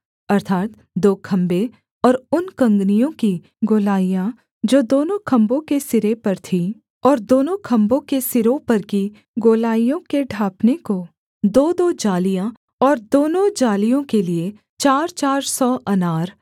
अर्थात् दो खम्भे और उन कँगनियों की गोलाइयाँ जो दोनों खम्भों के सिरे पर थीं और दोनों खम्भों के सिरों पर की गोलाइयों के ढाँपने को दोदो जालियाँ और दोनों जालियों के लिए चारचार सौ अनार